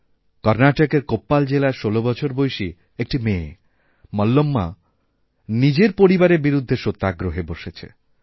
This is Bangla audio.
কর্ণাটকের কোপ্পাল জেলার ষোল বছর বয়সী একটি মেয়েমল্লম্মা নিজের পরিবারের বিরুদ্ধে সত্যাগ্রহে বসেছে